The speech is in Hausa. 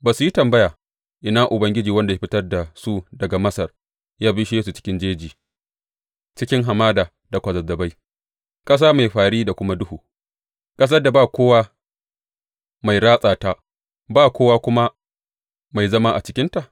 Ba su yi tambaya, Ina Ubangiji, wanda ya fitar da su daga Masar ya bishe su cikin jeji cikin hamada da kwazazzabai ƙasa mai fări da kuma duhu, ƙasar da ba kowa mai ratsa ta ba kowa kuma mai zama a cikinta?’